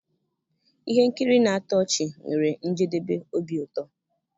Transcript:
Ihe nkiri na-atọ ọchị nwere njedebe obi ụtọ.